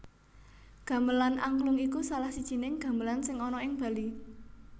Gamelan Angklung iku salah sijining gamelan sing ana ing Bali